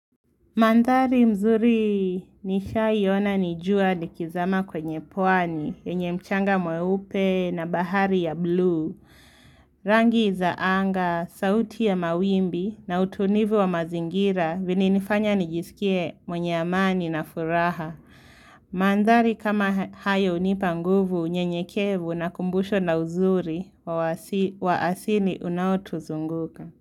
Mandhari mzuri nishaiona ni jua likizama kwenye pwani, yenye mchanga mweupe na bahari ya bluu. Rangi za anga, sauti ya mawimbi na utulivu wa mazingira vilinifanya nijisikie mwenye amani na furaha. Mandhari kama hayo hunipa nguvu, unyenyekevu na kumbusho la uzuri wa asini unaotuzunguka.